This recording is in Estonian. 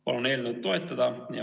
Palun eelnõu toetada!